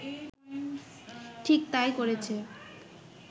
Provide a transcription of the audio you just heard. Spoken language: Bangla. ঠিক তাই করেছে